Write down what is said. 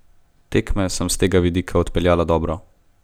Tekme sem s tega vidika odpeljala dobro.